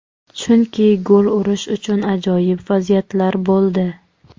Chunki gol urish uchun ajoyib vaziyatlar bo‘ldi.